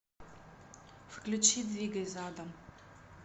включи двигай задом